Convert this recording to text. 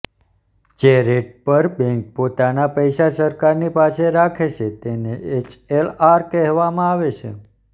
જે રેટ ઉપર બેંક પોતાના પૈસા સરકારની પાસે રાખે છે તેને એસએલઆર કહેવામાં આવે છે